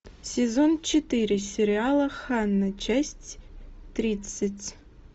сезон четыре сериала ханна часть тридцать